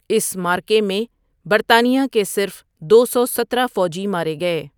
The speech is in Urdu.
اس معرکے میں برطانیہ کے صرف دو سو سترہ فوجی مارے گئے۔